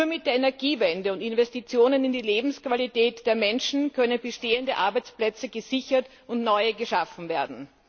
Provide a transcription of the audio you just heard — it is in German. Nur mit der Energiewende und Investitionen in die Lebensqualität der Menschen können bestehende Arbeitsplätze gesichert und neue geschaffen werden.